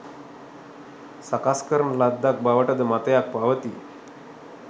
සකස් කරන ලද්දක් බවට ද මතයක් පවතී.